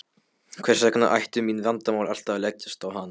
Hvers vegna ættu mín vandamál alltaf að leggjast á hana.